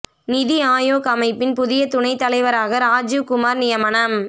நிதி ஆயோக் அமைப்பின் புதிய துணைத் தலைவராக ராஜீவ் குமார் நியமனம்